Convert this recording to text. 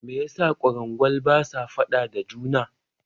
Me yasa kwarangwal basa faɗa da juna?